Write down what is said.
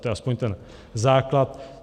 To je aspoň ten základ.